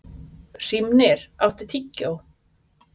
Hrímnir, áttu tyggjó?